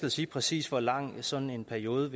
at sige præcis hvor lang sådan en periode